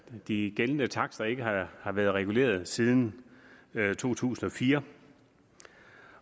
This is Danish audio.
de gældende takster ikke har har været reguleret siden to tusind og fire